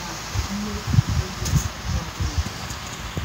na mmefu ego onye ọ bụla.